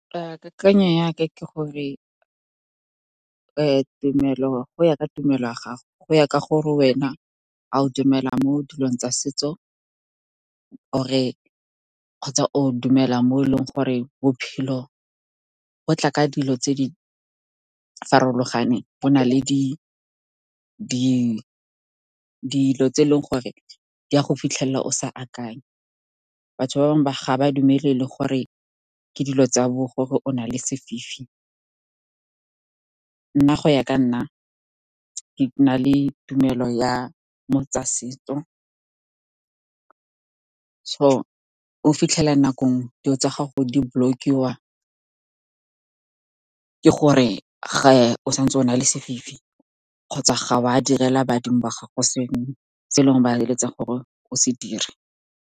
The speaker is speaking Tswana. Kakanyo yaka ke gore go ya ka tumelo ya gago, go ya ka gore wena o dumela mo dilong tsa setso kgotsa o dumela mo e leng gore bophelo bo tla ka dilo tse di farologaneng, bo na le dilo tse e leng gore di a go fitlhelela o sa akanya. Batho ba bangwe ga ba dumele le gore ke dilo tsa bo gore o na le sefifi. Nna go ya ka nna, ke na le tumelo ya mo tsa setso. O fitlhela nakong dilo tsa gago di-block-iwa, gore ga o santse o na le sefifi kgotsa ga o a direla badimo wa gago sengwe se e leng ba eletsa gore o se dire.